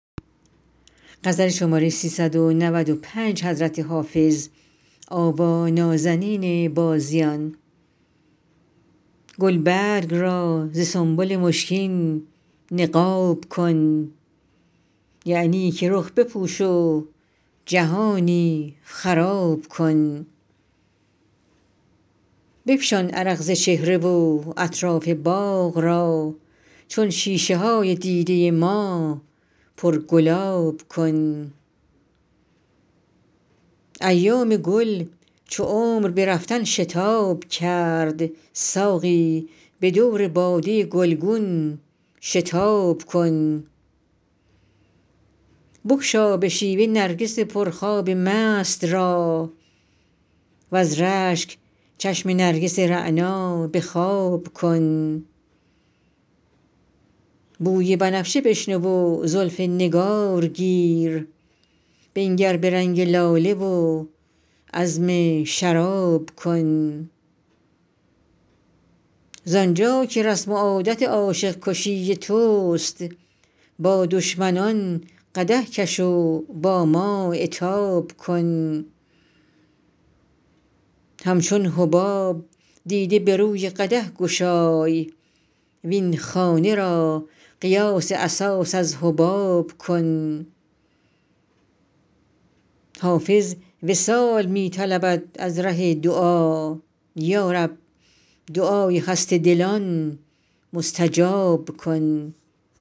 گلبرگ را ز سنبل مشکین نقاب کن یعنی که رخ بپوش و جهانی خراب کن بفشان عرق ز چهره و اطراف باغ را چون شیشه های دیده ما پرگلاب کن ایام گل چو عمر به رفتن شتاب کرد ساقی به دور باده گلگون شتاب کن بگشا به شیوه نرگس پرخواب مست را وز رشک چشم نرگس رعنا به خواب کن بوی بنفشه بشنو و زلف نگار گیر بنگر به رنگ لاله و عزم شراب کن زآن جا که رسم و عادت عاشق کشی توست با دشمنان قدح کش و با ما عتاب کن همچون حباب دیده به روی قدح گشای وین خانه را قیاس اساس از حباب کن حافظ وصال می طلبد از ره دعا یا رب دعای خسته دلان مستجاب کن